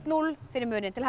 núll fyrir Mumin til